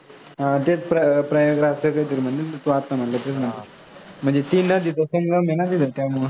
हां तेच प्रयागराज असं कांहीतरी म्हंटल तू, आता म्हंटलास तू. म्हणजे तीन नद्यांचा संगम आहे ना तिथं त्यामुळं